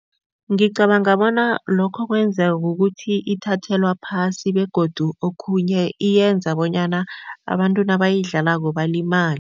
Ngicabanga bona lokho kwenzwa kukuthi ithathelwa phasi begodu okhunye iyenza bonyana abantu nabayidlalako balimale.